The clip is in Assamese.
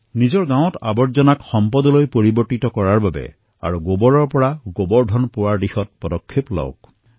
নিজৰ গাঁৱৰ জাবৰসমূহক সম্পত্তিলৈ পৰিবৰ্তন কৰি তথা গোবৰৰ পৰা গোবৰ ধন প্ৰস্তুত কৰাৰ দিশত আগবাঢ়ক